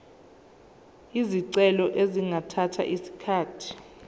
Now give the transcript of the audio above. izicelo zingathatha isikhathi